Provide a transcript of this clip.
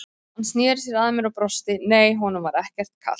Hann sneri sér að mér og brosti, nei, honum var ekkert kalt.